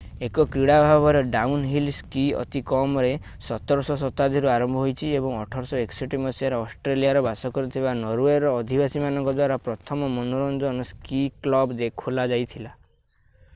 ଏକ କ୍ରୀଡ଼ା ଭାବରେ ଡାଉନହିଲ୍ ସ୍କି ଅତି କମରେ 17ଶ ଶତାବ୍ଦୀରୁ ଆରମ୍ଭ ହୋଇଛି ଏବଂ 1861 ମସିହାରେ ଅଷ୍ଟ୍ରେଲିଆରେ ବାସ କରୁଥିବା ନରୱେର ଅଧିବାସୀମାନଙ୍କ ଦ୍ଵାରା ପ୍ରଥମ ମନୋରଞ୍ଜନ ସ୍କି କ୍ଲବ୍ ଖୋଲାଯାଇଥିଲା